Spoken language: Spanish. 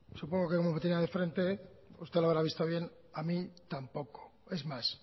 supongo que como me tenía de frente usted lo habrá visto bien a mí tampoco es más